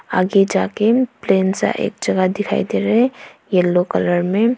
आगे जाके प्लेन सा एक जगह दिखाई दे रहे हैं येलो कलर में।